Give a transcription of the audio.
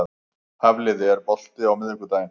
Hafliða, er bolti á miðvikudaginn?